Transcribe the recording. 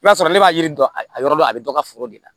I b'a sɔrɔ ne b'a yiri don a yɔrɔ la a bɛ dɔ ka foro de la